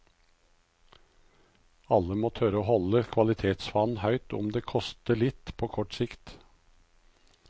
Alle må tørre å holde kvalitetsfanen høyt om det koster litt på kort sikt.